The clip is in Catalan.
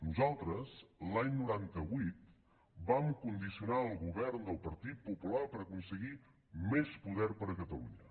nosaltres l’any noranta vuit vam condicionar el govern del partit popular per aconseguir més poder per a catalunya